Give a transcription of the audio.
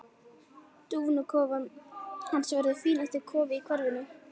Dúfnakofinn hans verður fínasti kofinn í hverfinu.